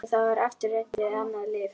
Og þá var aftur reynt við annað lyf.